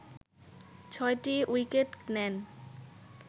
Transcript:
ছয়টি উইকেট নেন